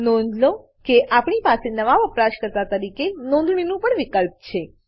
નોંધ લો કે આપણી પાસે નવા વપરાશકર્તા તરીકે નોંધણીનું પણ વિકલ્પ છે